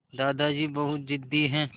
दादाजी बहुत ज़िद्दी हैं